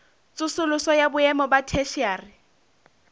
tsosoloso ya boemo ba theshiari